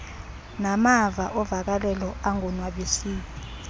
namava ovakalelo angonwabisiyo